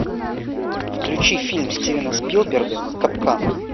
включи фильм стивена спилберга капкан